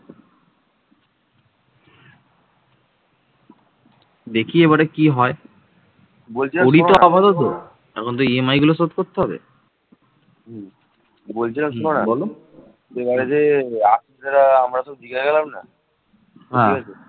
দেখি এবারে কি হয় এখন তো EMI গুলো শোধ করতে হবে এবারে যে আপনারা দিঘায় গেলেন